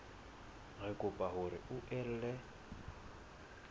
re kopa hore o ele